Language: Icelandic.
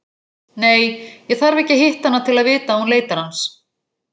Nei, ég þarf ekki að hitta hana til að vita að hún leitar hans.